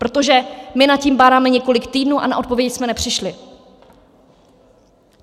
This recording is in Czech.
Protože my nad tím bádáme několik týdnů a na odpovědi jsme nepřišli.